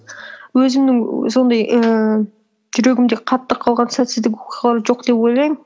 өзімнің сондай ііі жүрегімде қатты қалған сәтсіздік оқиғалар жоқ деп ойлаймын